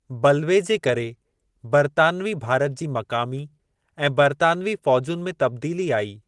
बल्वे जे करे बरतानिवी भारत जी मक़ामी ऐं बरतानिवी फ़ौजुनि में तब्दीली आई।